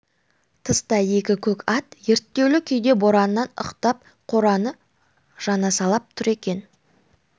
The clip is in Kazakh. тыста екі көк ат ерттеулі күйде бораннан ықтап қораны жанасалап тұр екен